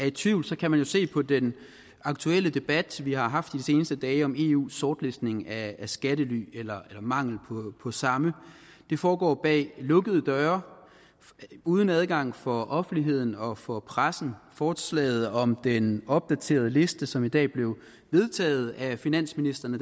i tvivl kan man jo se på den aktuelle debat vi har haft de seneste dage om eus sortlistning af skattely eller mangel på samme det foregår bag lukkede døre uden adgang for offentligheden og for pressen forslaget om den opdaterede liste som i dag blev vedtaget af finansministrene